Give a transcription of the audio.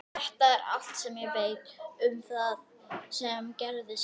Þetta er allt sem ég veit um það sem gerðist.